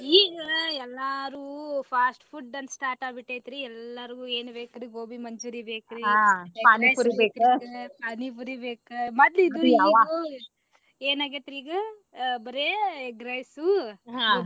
ಈಗ ಎಲ್ಲಾರು fast food ಅಂತ start ಆಗಿ ಬಿಟ್ಟೇತ್ರಿ ಎಲ್ಲಾಗ್ರು ಏನ ಬೇಕ್ರಿ gobi manchuri~ ಬೇಕ್ರಿ Pani puri ಬೇಕ ಏನ ಆಗೇತ್ರಿ ಈಗ ಬರೇ egg rice .